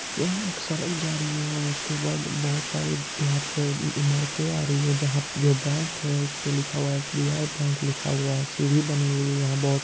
यहाँ एक सड़क जा रही है और उसके बाद बहोत सारी यहाँ पे इमारते आ रही है जहाँ जो बैंक है उसपे एस_बी_आई बैंक लिखा हुआ है सीढ़ियां बनी हुई है बहोत |